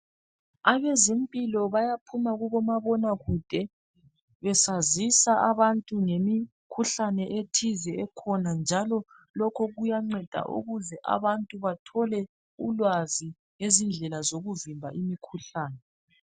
Abezempilo bayaphuma kubomabona kude besazisa abantu ngemikhuhlane ethize ekhona njalo lokhu kuyanceda ukuze abantu bathole ulwazi ngezindlela zokuvimba imikhuhlane